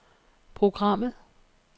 programmet